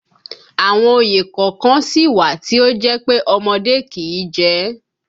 Àwọn òye kọ̀ọ̀kan sì wà tí ó jẹ́ pé ọmọdé kìí jẹ